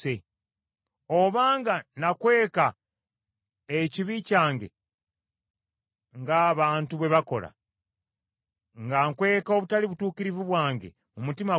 Obanga nakweka ekibi kyange ng’abantu bwe bakola, nga nkweka obutali butuukirivu bwange mu mutima gwange,